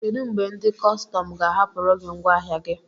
Kedụ mgbe ndị kọstọm ga-ahapụrụ gị ngwaahịa gi?